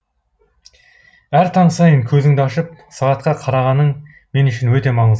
әр таң сайын көзіңді ашып сағатқа қарағаның мен үшін өте маңыз